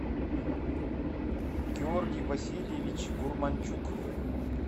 георгий васильевич гурманчук